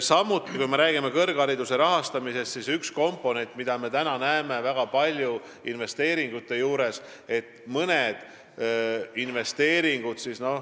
Samuti, kui me räägime kõrghariduse rahastamisest, siis üks komponent on investeeringud.